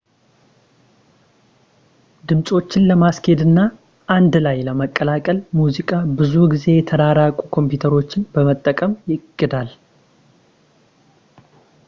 ድምፆችን ለማስኬድ እና አንድ ላይ ለማቀላቀል ሙዚቃ ብዙ ጊዜ የተራቀቁ ኮምፒውተሮችን በመጠቀም ይቀዳል